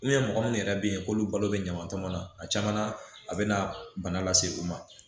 mɔgɔ minnu yɛrɛ bɛ yen k'olu balo bɛ ɲaman tɔmɔnɔ a caman a bɛna bana lase u ma